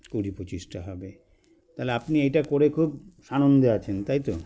কুড়ি পঁচিশটা হবে তালে আপনি এটা করে খুব সানন্দে আছেন তাইতো